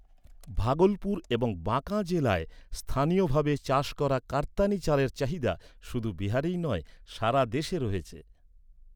ভাগলপুর এবং বাঁকা জেলায় স্থানীয়ভাবে চাষ করা কাতার্নি চালের চাহিদা শুধু বিহারেই নয়, সারা দেশে রয়েছে।